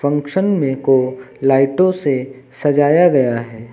Function में को लाइटों से सजाया गया है।